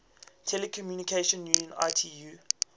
telecommunication union itu